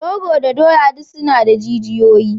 Rogo da doya duk suna da jijiyoyi.